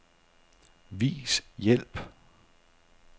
Vis hjælp.